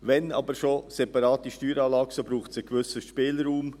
Wenn aber schon eine separate Steueranlage, so braucht es einen gewissen Spielraum.